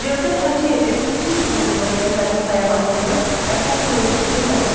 Cövdət Hacıyevin sülh uğrunda simfonik poemasının əsas mövzusu nədir?